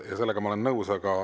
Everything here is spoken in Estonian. Sellega ma olen nõus.